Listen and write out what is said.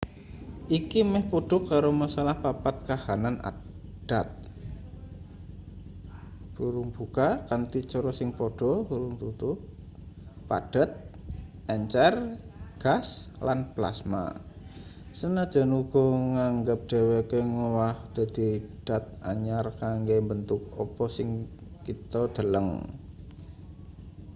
iki meh padha karo masalah papat kahanan dat kanthi cara sing padha: padhet encer gas lan plasma sanajan uga nganggep dheweke ngowah dadi dat anyar kanggo mbentuk apa sing kita deleng